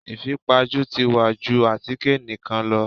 Ìfipajú ti wá ju àtíkè nìkan lọ.